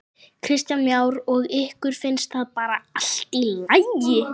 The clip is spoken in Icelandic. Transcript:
Kristján Már: Og ykkur finnst það bara allt í lagi?